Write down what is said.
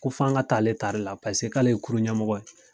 Ko f'a ka taa ale ta re la paseke k'ale ye kurun ɲɛmɔgɔ ye.